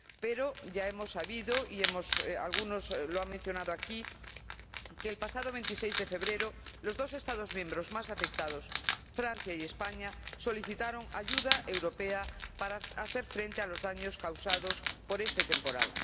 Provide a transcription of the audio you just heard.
Pero ya hemos sabido, y algunos lo han mencionado aquí, que, el pasado 26 de enero, los dos Estados miembros más afectados, Francia y España, solicitaron ayuda europea para hacer frente a los daños causados por este temporal.